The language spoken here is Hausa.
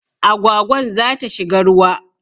Agwagwan za ta shiga ruwa